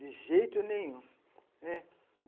De jeito nenhum, né.